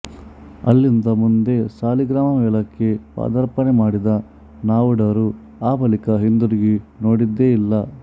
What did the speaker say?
ಅಲ್ಲಿಂದ ಮುಂದೆ ಸಾಲಿಗ್ರಾಮ ಮೇಳಕ್ಕೆ ಪದಾರ್ಪಣೆ ಮಾಡಿದ ನಾವುಡರು ಆ ಬಳಿಕ ಹಿಂದಿರುಗಿ ನೋಡಿದ್ದೇ ಇಲ್ಲ